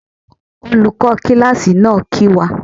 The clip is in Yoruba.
Olùkó kíláàsì náà kìí wá.